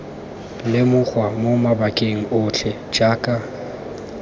lemogwa mo mabakeng otlhe jaaka